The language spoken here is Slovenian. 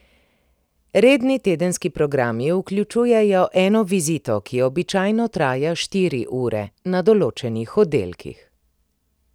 Redni tedenski programi vključujejo eno vizito, ki običajno traja štiri ure, na določenih oddelkih.